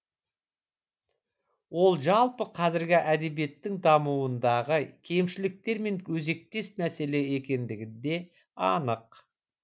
ол жалпы қазіргі әдебиеттің дамуындағы кемшіліктермен өзектес мәселе екендігі де анық